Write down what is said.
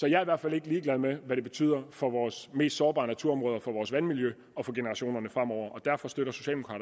jeg i hvert fald ikke ligeglad med hvad det betyder for vores mest sårbare naturområder for vores vandmiljø og for generationerne fremover og derfor støtter